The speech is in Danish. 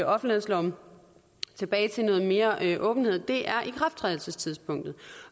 offentlighedsloven tilbage til noget mere mere åbenhed er ikrafttrædelsestidspunktet